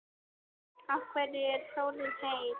Af hverju er sólin heit?